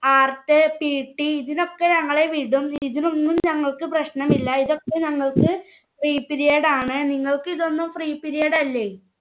art, PT ഇതിനൊക്കെ ഞങ്ങളെ വിടും. ഇതിനൊന്നും ഞങ്ങൾക്ക് പ്രശ്നമില്ല. ഇതൊക്കെ ഞങ്ങൾക്ക് free period ആണ്. നിങ്ങൾക്ക് ഇതൊന്നും free period അല്ലെ